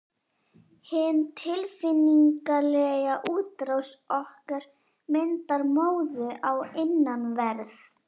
Hin tilfinningalega útrás okkar myndar móðu á innanverð